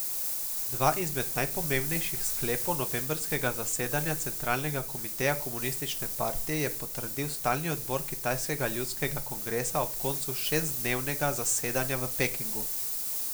Dva izmed najpomembnejših sklepov novembrskega zasedanja centralnega komiteja komunistične partije je potrdil stalni odbor kitajskega ljudskega kongresa ob koncu šestdnevnega zasedanja v Pekingu.